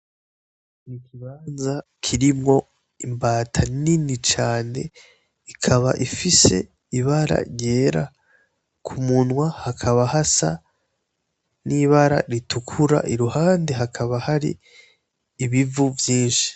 Ikibanza kirimwo imbata nini cane, ikaba ifise Ibara ryera ,kumunwa hakaba hasa n'ibara ritukura iruhande hakaba hari ibivu vyinshi